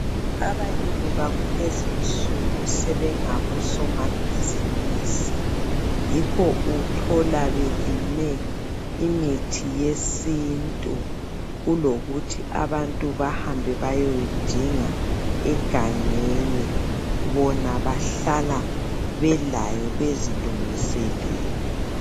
abalimi bakulezinsuku sebengabo somabhizinisi yikho uthala belime imithi yesintu kulokuthi abantu bahambe bayoyidinga egangeni bona bahlala belayo belungiselele